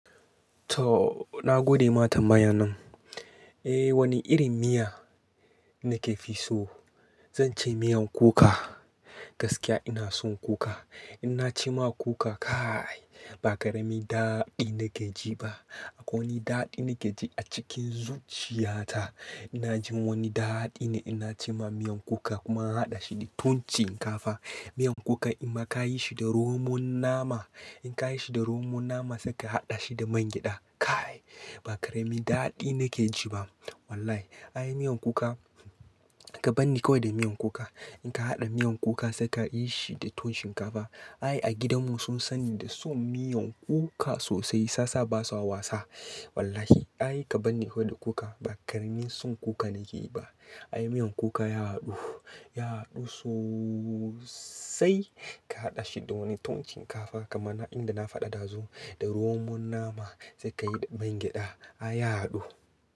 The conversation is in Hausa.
To na gode ma tambayan nan. Eh wani irin miya nakefi so? Zance miyan kuka, gaskiya ina son kuka. Inna ci ma kuka kai, ba ƙaramin daɗi nakeji ba. Akwai wani daɗi nakeji a cikin zuciyata. Inna jin wani daɗi ne inna ci ma miyan kuka kuma hada shi da ton shinkafa. Miyan kuka inma ka yi shi da romon nama, in ka yi shi da rmon nama sai ka haɗa shi da man gyada, kaai ba ƙaramin daɗi nakeji ba wallahi. Ai miyan kuka, ka banni kawai da miyan kuka. In ka haɗa miyan kuka sai ka yi shi da ton shinkafa. Ai a gidanmu sun sani da son miyan kuka sosai sasa basa wasa. Wallahi ai ka bani kawai da kuka ba ƙaramin son kuka nake yi ba. Ai miyan kuka ya haɗu, ya haɗu soosai ka haɗa shi da wani tuwonn shinkafa kamar na inda na faɗa ɗazu, da romon nama sai ka yi da man gyada, ai ya haɗu.